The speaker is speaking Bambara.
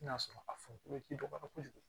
N'a sɔrɔ a funu tɛ dɔgɔya kojugu